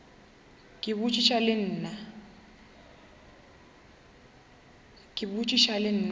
ke a botšiša le nna